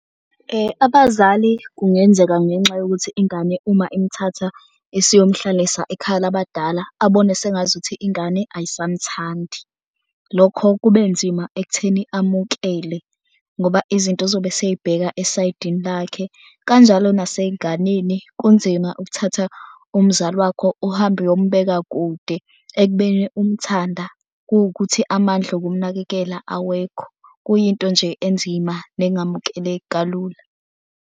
Abazali kungenzeka ngenxa yokuthi ingane uma imthatha isiyomhlalisa ekhaya labadala abone sengazuthi ingane ayisamthandi. Lokho kube nzima ekutheni amukele ngoba izinto uzobe eseyibheka esaydini lakhe. Kanjalo naseyinganeni kunzima ukuthatha umzali wakho uhambe uyombeka kude ekubeni umthanda kuwukuthi amandla okumnakekela awekho. Kuyinto nje enzima nengamukeleki kalula.